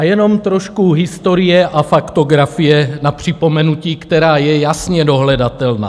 A jenom trošku historie a faktografie na připomenutí, která je jasně dohledatelná.